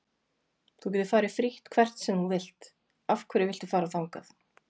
Þú getur farið frítt hvert sem þú vilt, af hverju viltu fara þangað?